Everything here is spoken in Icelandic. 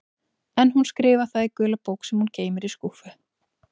En hún skrifar það í gula bók sem hún geymir í skúffu.